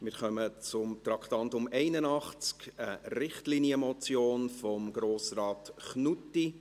Wir kommen zum Traktandum 81, einer Richtlinienmotion von Grossrat Knutti.